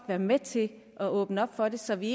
være med til at åbne op for det så vi